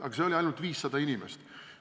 Aga see oli ainult 500 inimest.